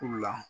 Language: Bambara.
U la